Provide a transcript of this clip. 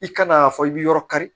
I kan'a fɔ i bi yɔrɔ kari